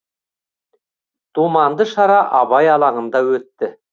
думанды шара абай алаңында өтті